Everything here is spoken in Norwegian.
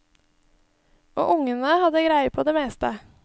Og ungene hadde greie på det meste.